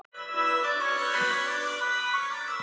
Ég myndi orða það helst þannig.